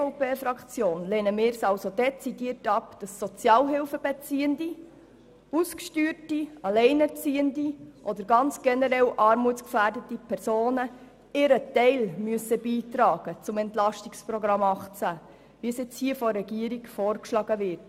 Als EVP-Fraktion lehnen wir es dezidiert ab, dass Sozialhilfebeziehende, Ausgesteuerte, Alleinerziehende oder ganz generell armutsgefährdete Personen ihren Teil zum EP 2018 beitragen müssen, wie dies von der Regierung vorgeschlagen wird.